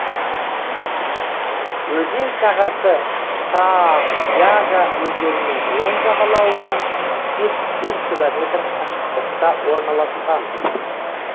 өзен сағасы саа яга өзенінің оң жағалауынан жетпіс төрт километр қашықтықта орналасқан